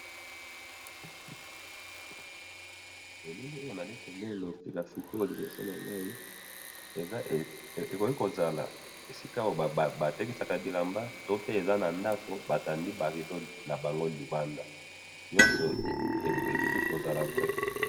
na bilili oyo nazali komona, nasika sikoyo liboso nangai, eza, ekomi kozala esika oyo batekisaka bilamba to pe eza na ndako, batandi ba rideaux na bango libanda nyoso eki kozala vrai